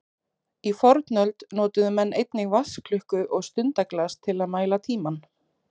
Í fornöld notuðu menn einnig vatnsklukku og stundaglas til að mæla tímann.